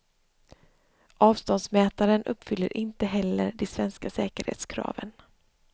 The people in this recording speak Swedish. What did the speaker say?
Avståndsmätaren uppfyller inte heller de svenska säkerhetskraven.